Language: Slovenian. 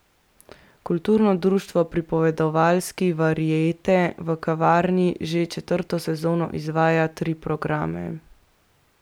Kulturno društvo Pripovedovalski variete v kavarni že četrto sezono izvaja tri programe.